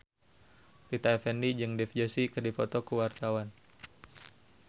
Rita Effendy jeung Dev Joshi keur dipoto ku wartawan